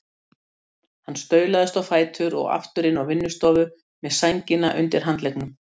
Hann staulaðist á fætur og aftur inn á vinnustofu með sængina undir handleggnum.